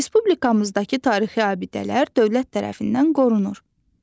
Respublikamızdakı tarixi abidələr dövlət tərəfindən qorunur.